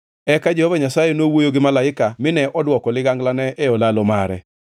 Eka Jehova Nyasaye nowuoyo gi malaika mine odwoko liganglane e olalo mare.